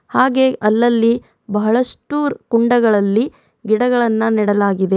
ಹಾಗೆ ಅಲ್ಲಲ್ಲಿ ಬಹಳಷ್ಟು ಕುಂಡಗಳಲ್ಲಿ ಗಿಡಗಳನ್ನ ನೆಡಲಾಗಿದೆ.